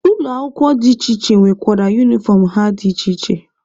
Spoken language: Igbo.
Ụlọ akwụkwọ dị iche iche nwekwara unifọm ha dị iche iche.